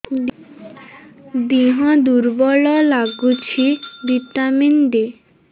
ଦିହ ଦୁର୍ବଳ ଲାଗୁଛି ଭିଟାମିନ ଦେ